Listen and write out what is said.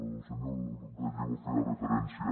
el senyor gallego feia referència